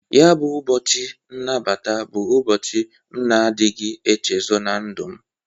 Ya bụ ụbọchị nnabata bụ ụbochị m na-adịghị nchezo na ndụ m.